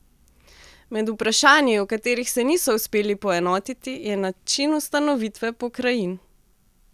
Med vprašanji, o katerih se niso uspeli poenotiti, je način ustanovitve pokrajin.